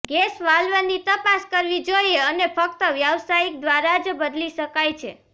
gas વાલ્વની તપાસ કરવી જોઈએ અને ફક્ત વ્યાવસાયિક દ્વારા જ બદલી શકાય છે